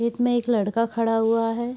खेत में एक लड़का खड़ा हुआ है।